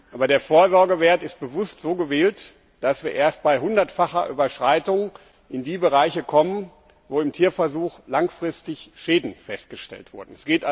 Aber der Vorsorgewert ist bewusst so gewählt, dass wir erst bei hundertfacher Überschreitung in die Bereiche kommen, wo im Tierversuch langfristig Schäden festgestellt wurden.